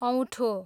औँठो